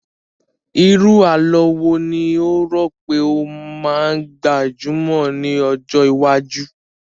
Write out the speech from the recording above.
Irú àlọ́ wo ni o rò pé ó máa gbajumọ̀ ní ọjọ́ iwájú?